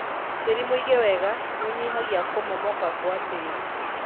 Tĩri mũige wega nĩũnyihagia kũmomoka gwa tĩri.